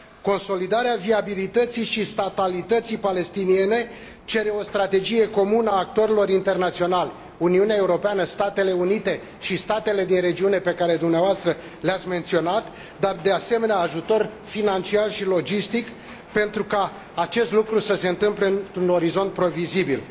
Consolidarea viabilității și statalității palestiniene cere o strategie comună a actorilor internaționali Uniunea Europeană, Statele Unite și statele din regiune pe care dumneavoastră le ați menționat dar, de asemenea, ajutor financiar și logistic pentru ca acest lucru să se întâmple într un orizont previzibil.